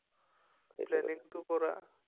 প্লেনিংটো কৰা